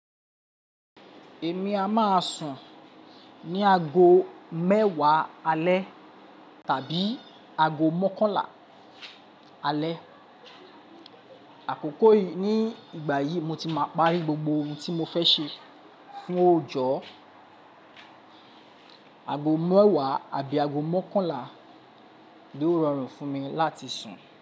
Èmi a máa sùn ní ago mẹ́wàá alẹ́ tàbí ago mọ́kànlá alẹ́. Àkókò yìí ní ìgbà yìí mo ti máa parí gbogbo ohun tí mo fẹ́ ṣe fún òòjọ́. Ago mẹ́wàá àbí ago mọ́kànlá ló rọrùn fún mi láti sùn.